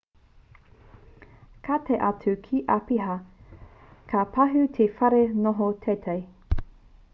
ka tae atu te āpiha ka pahū te whare noho teitei